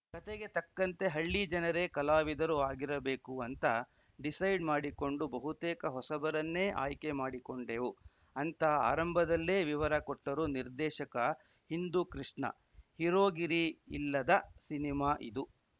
ಕತೆಗೆ ತಕ್ಕಂತೆ ಹಳ್ಳಿ ಜನರೇ ಕಲಾವಿದರು ಆಗಿರಬೇಕು ಅಂತ ಡಿಸೈಡ್‌ ಮಾಡಿಕೊಂಡು ಬಹುತೇಕ ಹೊಸಬರನ್ನೇ ಆಯ್ಕೆ ಮಾಡಿಕೊಂಡೆವು ಅಂತ ಆರಂಭದಲ್ಲೇ ವಿವರ ಕೊಟ್ಟರು ನಿರ್ದೇಶಕ ಹಿಂದೂ ಕೃಷ್ಣ ಹೀರೋಗಿರಿ ಇಲ್ಲದ ಸಿನಿಮಾ ಇದು